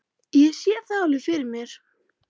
Ég sé það alveg fyrir mér.